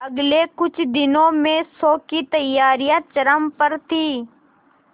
अगले कुछ दिनों में शो की तैयारियां चरम पर थी